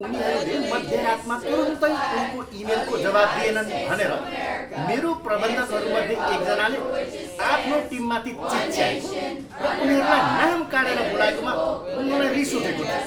उनीहरूले मध्य रातमा तुरुन्तै उनको इमेलको जवाफ दिएनन भनेर मेरो प्रबन्धकहरूमध्ये एक जनाले आफ्नो टिममाथि चिच्याएको र उनीहरूलाई नाम काढेर बोलाएकोमा मलाई रिस उठेको थियो।